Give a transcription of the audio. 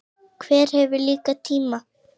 Hver hefur líka tíma?